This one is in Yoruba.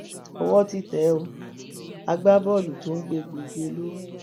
owó ti tẹ ẹ o agbábọọlù tó ń gbé egbòogi olóró